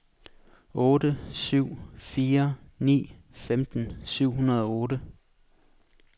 otte syv fire ni femten syv hundrede og otte